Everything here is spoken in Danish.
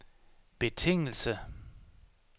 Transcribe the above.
betingelse